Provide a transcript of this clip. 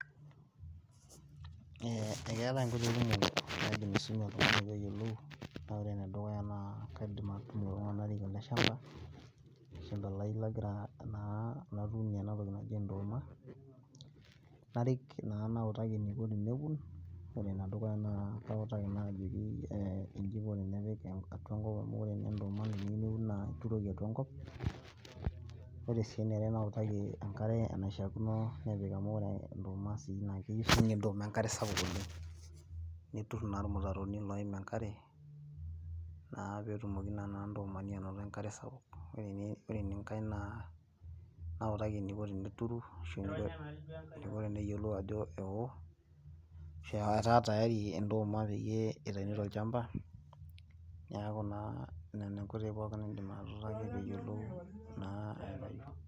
Eeh enketai inkoitoi kumuk oleng naidim aisumie oltungani peeyolu, naa wore enedukuyia naa kaidim atudum iltunganak narik ele shampa lai lagira naa, natuunie enatoki naji enduma, narik naa nawutaki eniko teneun. Wore enedukuyia naa kautaki naa ajoki eeh iji iko tenepiki atua enkop amu wore naa ndooma teneuni naa ituroki atua enkop, wore sii eniare nawutaki enkare enaishakino nepiki amu wore enduma naa keyeu sii ninye enkare sapuk oleng. Nitur naa irmutaroni loim enkare naa peetumoki naa ndoomani anoto enkare sapuk, wore naa enkai naa nawutaki eniko tenturu ashu eniko teneyolou ajo eweo ashu etaa tayari endooma peyie itaini toolchampa. Niaku naa nena inkoitoi pookin naidim atutaaki peyolou enasiai.